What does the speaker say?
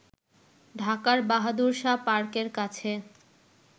ঢাকার বাহাদুর শাহ পার্কের কাছে